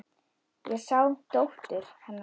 Ég sá dóttur. hennar.